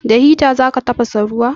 Da hita za ka tafasa ruwa?